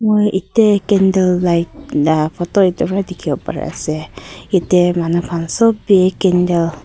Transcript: mui ite candle light la photo itewa dikhiwo pari ase ite manu khan sob bi candle .